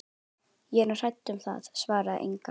Ég er nú hrædd um það, svaraði Inga.